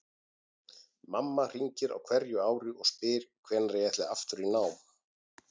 Mamma hringir á hverju ári og spyr hvenær ég ætli aftur í nám.